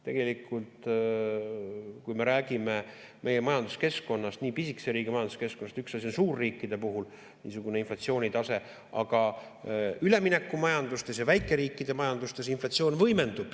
Tegelikult, kui me räägime meie majanduskeskkonnast, nii pisikese riigi majanduskeskkonnast, üks asi on suurriikide puhul niisugune inflatsioonitase, aga üleminekumajandustes ja väikeriikide majandustes inflatsioon võimendub.